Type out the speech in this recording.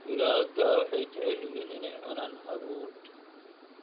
Digaagga waxay jecel yihiin inay cunaan hadhuudh.